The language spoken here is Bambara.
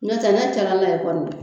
N'o tɛ ne calala ye kɔni